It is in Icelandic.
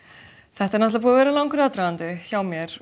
þetta er náttúrulega búinn að vera langur aðdragandi hjá mér